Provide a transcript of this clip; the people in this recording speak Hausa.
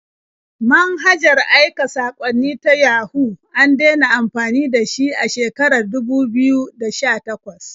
Manhajar aika saƙwanni na Yahoo an dena amfani da shi a shekarar dubu biyu da sha-takwas.